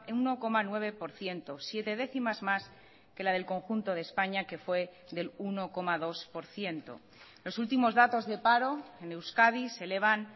uno coma nueve por ciento siete décimas más que la del conjunto de españa que fue del uno coma dos por ciento los últimos datos de paro en euskadi se elevan